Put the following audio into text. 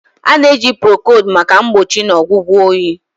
A na-eji Procold maka mgbochi na ọgwụgwọ oyi.